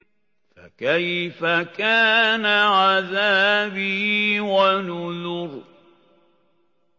فَكَيْفَ كَانَ عَذَابِي وَنُذُرِ